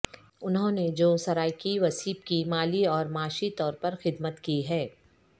انہوں نے جو سرائیکی وسیب کی مالی اور معاشی طور پر خدمت کی ہے